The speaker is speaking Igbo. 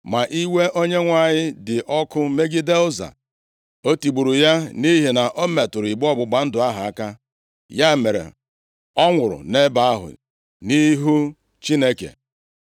Ma iwe Onyenwe anyị dị ọkụ megide Ụza, o tigburu ya nʼihi na o metụrụ igbe ọgbụgba ndụ ahụ aka. Ya mere, ọ nwụrụ nʼebe ahụ nʼihu Chineke.